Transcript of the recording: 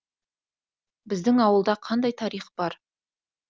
біздің ауылда қандай тарих бар